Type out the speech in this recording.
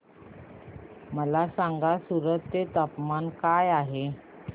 मला सांगा सूरत चे तापमान काय आहे